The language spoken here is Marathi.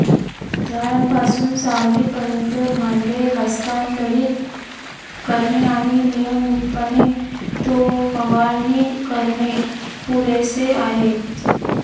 झाडांपासून सावलीपर्यंत भांडे हस्तांतरित करणे आणि नियमितपणे तो फवारणी करणे पुरेसे आहे